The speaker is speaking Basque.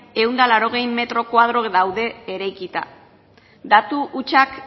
ehun eta laurogei mila metroko koadro daude eraikia datu hutsak